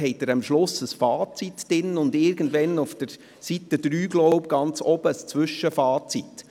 Dort haben Sie am Schluss ein Fazit und oben auf Seite 3, glaube ich, ein Zwischenfazit.